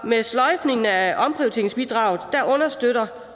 med sløjfningen er omprioriteringsbidraget understøtter